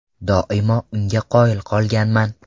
Doimo unga qoyil qolganman.